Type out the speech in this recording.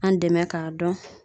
An dɛmɛ k'a dɔn